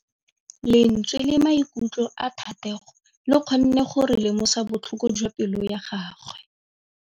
Lentswe la maikutlo a Thategô le kgonne gore re lemosa botlhoko jwa pelô ya gagwe.